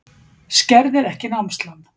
Skerðir ekki námslán